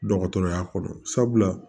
Dɔgɔtɔrɔya kɔrɔ sabula